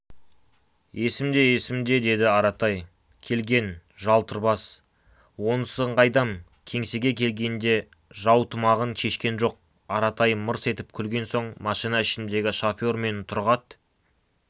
есімде есімде деді аратай келген жалтыр бас онысын қайдам кеңсеге келгенде жаутұмағын шешкен жоқ аратай мырс етіп күлген соң машина ішіндегі шофер мен тұрғат